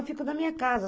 Eu fico na minha casa.